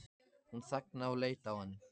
Hún þagnaði og leit á hann.